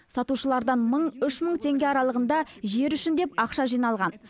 сатушылардан мың үш мың теңге аралығында жер үшін деп ақша жиналған